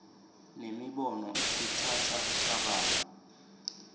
nemibono ikhutsata kucabanga